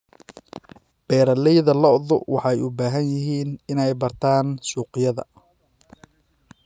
Beeralayda lo'du waxay u baahan yihiin inay bartaan suuqyada.